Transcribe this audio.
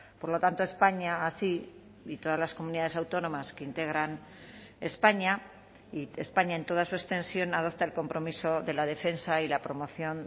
por lo tanto españa así y todas las comunidades autónomas que integran españa y españa en toda su extensión adopta el compromiso de la defensa y la promoción